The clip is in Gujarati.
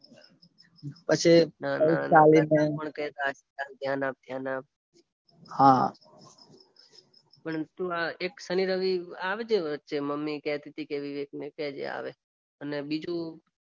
પછી પૈસા લઈને ધ્યાન આ ધ્યાન આપ હા પણ તું આ એક શનિ રવિ આવજે વચ્ચે મમ્મી કેતી ટી વિવેકને કેજે આવે અને બીજું